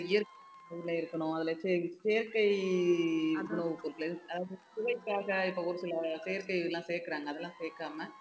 இருக்கணும் அதுல செய~ செயற்கை உணவுப் பொருட்கள் அதாவது சுவைக்காக இப்ப ஒரு சில செயற்கை இதெல்லாம் சேர்க்கிறாங்க அதெல்லாம் சேர்க்காம